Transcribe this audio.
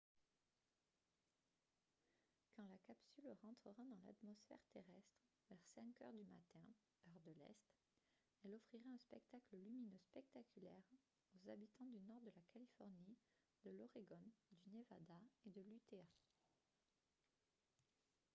quand la capsule rentrera dans l’atmosphère terrestre vers 5 heures du matin heure de l’est elle offrira un spectacle lumineux spectaculaire aux habitants du nord de la californie de l’oregon du nevada et de l’utah